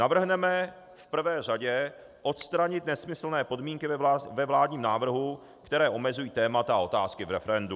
Navrhneme v prvé řadě odstranit nesmyslné podmínky ve vládním návrhu, které omezují témata a otázky v referendu.